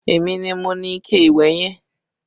Èmi ni mo ni ikẹ ìwẹ̀ yẹn